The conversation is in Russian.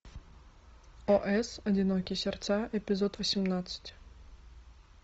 ос одинокие сердца эпизод восемнадцать